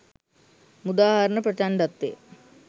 මුදා හරින ප්‍රචණ්ඩත්වය